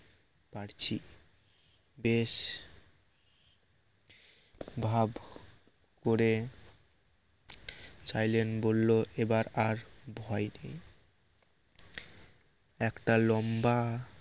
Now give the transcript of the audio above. পারছি বেশ ভাব করে চাইলেন বলল এবার আর ভয় একটা লম্বা